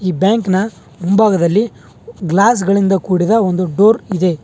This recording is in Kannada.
ಬ್ಯಾಂಕ್ ನ ಮುಂಭಾಗದಲ್ಲಿ ಗ್ಲಾಸ್ ಗಳಿಂದ ಕುಡಿದ ಒಂದು ಡೋರ್ ಇದೆ.